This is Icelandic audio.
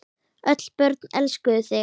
Öll börn elskuðu þig.